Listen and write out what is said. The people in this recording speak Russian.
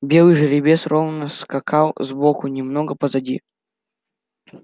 белый жеребец ровно скакал сбоку немного позади